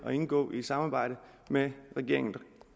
at indgå et samarbejde med regeringen